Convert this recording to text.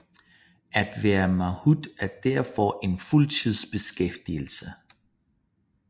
At være mahoot er derfor en fuldtidsbeskæftigelse